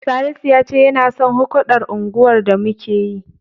Salisu ya ce yana son hukɗar unguwar da muke yi